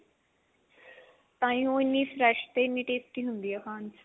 ਤਾਹੀ ਉਹ ਇੰਨੀ fresh ਤੇ ਇੰਨੀ tasty ਹੁੰਦੀ ਆ ਖਾਣ ਚ